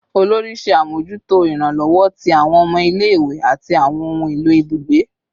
Olori ṣe amojuto iranlọwọ ti awọn ọmọ ile-iwe ati awọn ohun elo ibugbe